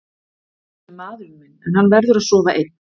Hann er nú einu sinni maðurinn minn en hann verður að sofa einn.